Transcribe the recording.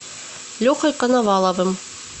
лехой коноваловым